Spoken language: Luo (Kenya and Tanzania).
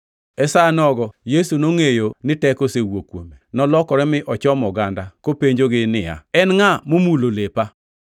E sa nogo Yesu nongʼeyo ni teko osewuok kuome. Nolokore mi ochomo oganda, kopenjogi niya, “En ngʼa momulo lepa?”